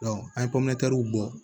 an ye bɔ